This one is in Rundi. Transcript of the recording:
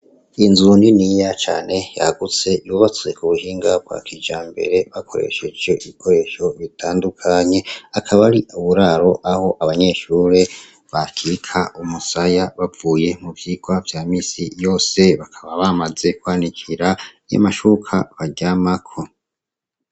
Inzu niniya cane yagutse yubatswe ku buhinga bwa kijambere, bakoresheje ibikoresho bitandukanye, akaba ari uburaro aho abanyeshure bakika umusaya bavuye mu vyigwa vya minsi yose, bakaba bamaze kwanikira amashuka baryamako